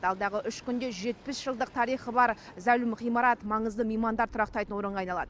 алдағы үш күнде жүз жетпіс жылдық тарихы бар зәулім ғимарат маңызды меймандар тұрақтайтын орынға айналады